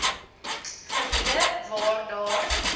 gebiede waar daar